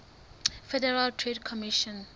federal trade commission